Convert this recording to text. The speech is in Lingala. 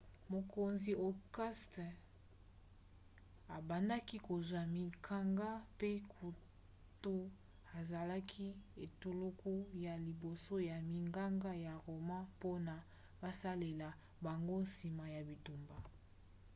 mokonzi auguste abandaki kozwa minganga mpe kutu asalaki etuluku ya liboso ya minganga ya roma mpona basalela bango nsima ya bitumba